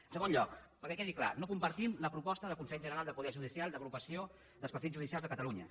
en segon lloc perquè quedi clar no compartim la proposta del consell general del poder judicial d’agrupació dels partits judicials de catalunya